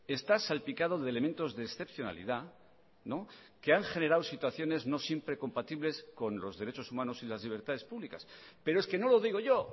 está salpicado de elementos de excepcionalidad que han generado situaciones no siempre compatibles con los derechos humanos y las libertades públicas pero es que no lo digo yo